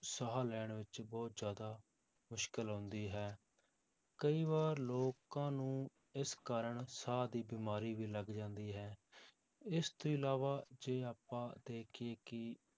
ਸਾਹ ਲੈਣ ਵਿੱਚ ਬਹੁਤ ਜ਼ਿਆਦਾ ਮੁਸ਼ਕਲ ਆਉਂਦੀ ਹੈ, ਕਈ ਵਾਰ ਲੋਕਾਂ ਨੂੰ ਇਸ ਕਾਰਨ ਸਾਹ ਦੀ ਬਿਮਾਰੀ ਵੀ ਲੱਗ ਜਾਂਦੀ ਹੈ, ਇਸ ਤੋਂ ਇਲਾਵਾ ਜੇ ਆਪਾਂ ਦੇਖੀਏ ਕਿ